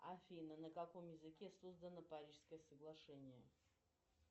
афина на каком языке создано парижское соглашение